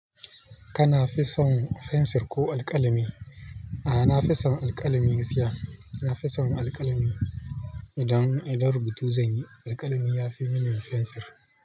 Kana fison fensir ko alƙalami? A'a, na fi son alƙalami gaskiya. Na fi son alƙalami idan, idan rubutu zanyi alƙalami yafi mini fensir.